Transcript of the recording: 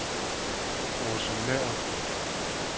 Aase Nøhr